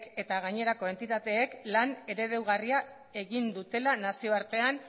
eta gainerako entitateek lan eredugarria egin dutela nazioartean